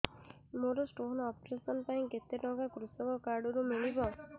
ମୋର stone operation ପାଇଁ କେତେ ଟଙ୍କା କୃଷକ କାର୍ଡ ରୁ ମିଳିବ